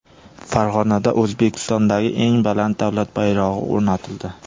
Farg‘onada O‘zbekistondagi eng baland davlat bayrog‘i o‘rnatildi .